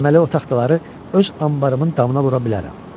Deməli o taxtaları öz anbarımın damına vura bilərəm.